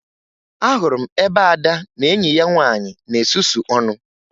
Ahụrụ m ebe Ada na enyi ya nwaanyị na-esusu ọnụ